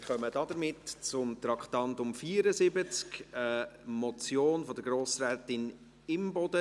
Wir kommen damit zum Traktandum 74, einer Motion von Grossrätin Imboden: